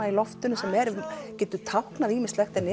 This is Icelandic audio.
í loftinu sem getur táknað ýmislegt en